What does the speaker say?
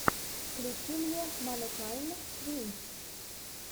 включи мне манукайн твинс